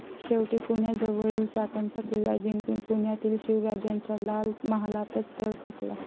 शेवटी पुण्याजवळील चाकणचा किल्ला जिंकून पुण्यातील शिवराजांच्या लाल महालातच तळ ठोकला.